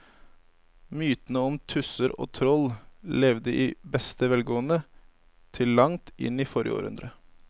Mytene om tusser og troll levde i beste velgående til langt inn i forrige århundre.